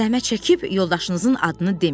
Zəhmət çəkib yoldaşınızın adını deməyin.